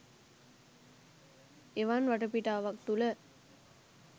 එවන් වටාපිටාවක් තුළ